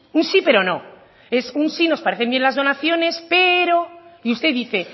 un sí pero no es un sí nos parecen bien las donaciones pero y usted dice